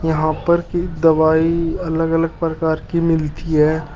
यहां पर की दवाई अलग अलग प्रकार की मिलती है।